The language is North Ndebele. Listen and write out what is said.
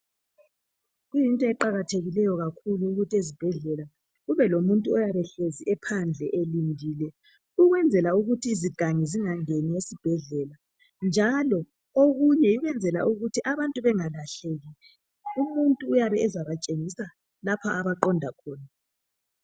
Into eqakathekileyo kakhulu yikuthi ezibhedlela kube lomuntu oyabehlezi ephandle elindile ukwenzela ukuthi izigangi zingangeni esibhedlela njalo okunye ukwenzela ukuthi abantu bengalahleki , umuntu uyabe ezabatshengisa lapha abaqonda khona